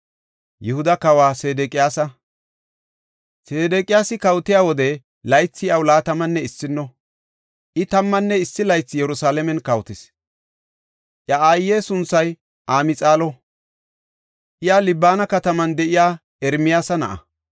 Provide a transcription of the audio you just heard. Sedeqiyaasi kawotiya wode, laythi iyaw laatamanne issino; I tammanne issi laythi Yerusalaamen kawotis. Iya aaye sunthay Amxaalo; iya Libana kataman de7iya Ermiyaasa na7a.